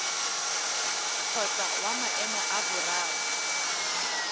kgotsa wa maemo a boraro